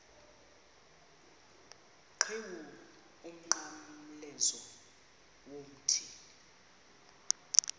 qhiwu umnqamlezo womthi